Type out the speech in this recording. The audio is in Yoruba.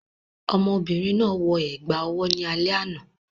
Ọmọ obìnrin náà wọ ẹ̀gbà owó ní alẹ́ àná